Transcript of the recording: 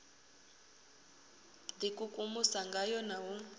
d ikukumusa ngayo na u